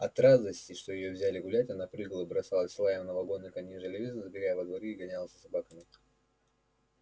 от радости что её взяли гулять она прыгала бросалась с лаем на вагоны конножелезки забегала во дворы и гонялась за собаками